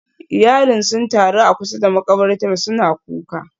Iyalin sun taru a kusa da makabartar suna kuka